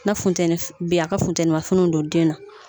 Na funteni bɛ yen a ka funtenimafiniw don den na